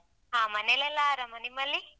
ಹ ಮನೆಯಲ್ಲೆಲ್ಲ ಆರಾಮ ನಿಮ್ಮಲ್ಲಿ?